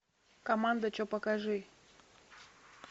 команда че покажи